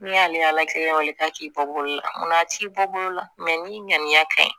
N'i y'ale kelen wale ta k'i bɔ bolo la munna t'i bɔ bolo la ni ŋaniya ka ɲi